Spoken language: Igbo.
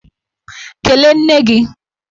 Kelee nne gi!